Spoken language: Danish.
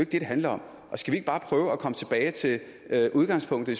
det handler om skal vi ikke bare prøve at komme tilbage til det der er udgangspunktet